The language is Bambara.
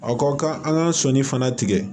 A ka kan an ka sɔnni fana tigɛ